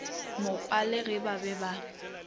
mokwele ge ba be ba